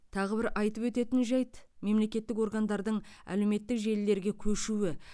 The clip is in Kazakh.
тағы бір айтып өтетін жайт мемлекеттік органдардың әлеуметтік желілерге көшуі